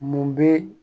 Mun bɛ